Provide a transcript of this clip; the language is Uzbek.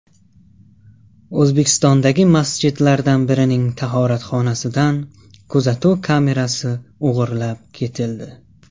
O‘zbekistondagi masjidlardan birining tahoratxonasidan kuzatuv kamerasi o‘g‘irlab ketildi.